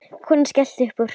Konan skellti upp úr.